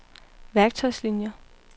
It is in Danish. værktøjslinier